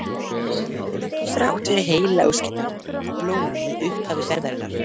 Þrátt fyrir heillaóskirnar og blómin við upphaf ferðarinnar.